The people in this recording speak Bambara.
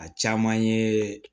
A caman ye